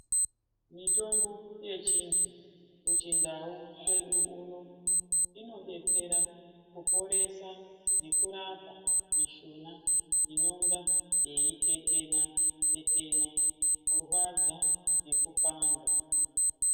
Mitombo yechiantu kuchindau kwedu unodetsera kuporesa nekurapa mishuna inenge yeitetena, kirwadza nekupanda.